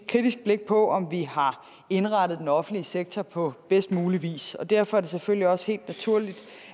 kritisk blik på om vi har indrettet den offentlige sektor på bedst mulig vis og derfor er det selvfølgelig også helt naturligt